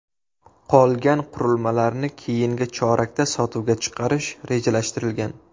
Qolgan qurilmalarni keyingi chorakda sotuvga chiqarish rejalashtirilgan.